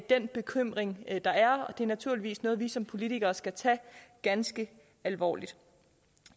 den bekymring der er og det er naturligvis noget vi som politikere skal tage ganske alvorligt